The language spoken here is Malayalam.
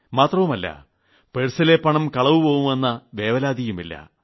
മാത്രമല്ല പേഴ്സിലെ പണം കളവുപോവുമെന്ന വേവലാതിയുമില്ല